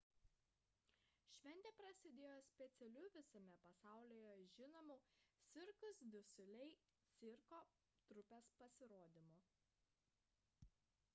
šventė prasidėjo specialiu visame pasaulyje žinomos cirque du soleil cirko trupės pasirodymu